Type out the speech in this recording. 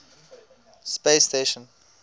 space station